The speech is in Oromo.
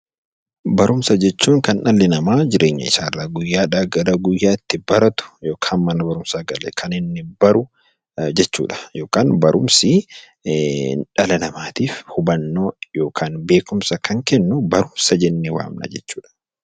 Barumsa jechuun kan dhalli namaa guyyaadhaa gara guyyaatti baratu yookaan mana barumsaa galee baru jechuudha. Yookiin barumsi dhala namaatiif beekumsa kan kennu barumsa jennee waamna jechuudha.